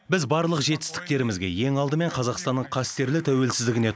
біз барлық жетістіктерімізге ең алдымен қазақстанның қастерлі тәуелсіздігіне